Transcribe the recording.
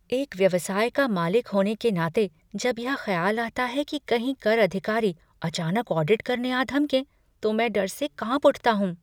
एक व्यवसाय का मालिक होने के नाते जब यह ख्याल आता है कि कहीं कर अधिकारी अचानक ऑडिट करने आ धमकें तो मैं डर से काँप उठता हूँ।